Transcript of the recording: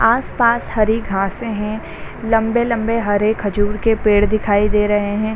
आस-पास हरी घासे है लम्बे-लम्बे हरे खजूर के पेड़ दिखाए दे रहे हैं।